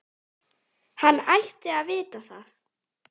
Hann ætti að vita það.